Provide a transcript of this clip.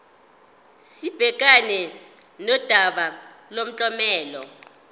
sibhekane nodaba lomklomelo